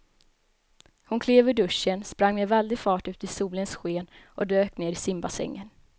Hon klev ur duschen, sprang med väldig fart ut i solens sken och dök ner i simbassängen.